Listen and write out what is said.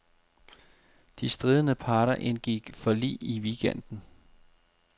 De stridende parter indgik forlig i weekenden.